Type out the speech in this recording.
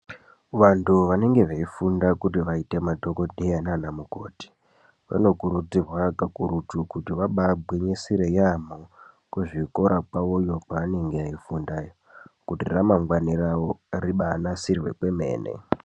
Vantu vanenge veifundira kuti vaite madhokodheya nana mukoti vanokurudzirwa kakurutu kuti vabagwinyisire yambo kuzvikora kwawoyo pavanenge veifundira kuita kuti ramangwani ravo ribanasirwe kwemene.